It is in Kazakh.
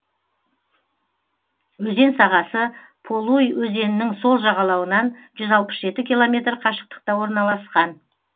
өзен сағасы полуй өзенінің сол жағалауынан жүз алпыс жеті километр қашықтықта орналасқан